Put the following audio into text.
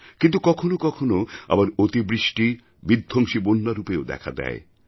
কিন্তু কখনও কখনও আবার অতিবৃষ্টি বিধ্বংসী বন্যারূপেও দেখা দেয়